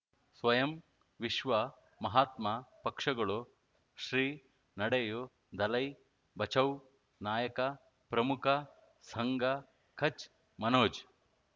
ಸ್ವಯಂ ವಿಶ್ವ ಮಹಾತ್ಮ ಪಕ್ಷಗಳು ಶ್ರೀ ನಡೆಯೂ ದಲೈ ಬಚೌ ನಾಯಕ ಪ್ರಮುಖ ಸಂಘ ಕಚ್ ಮನೋಜ್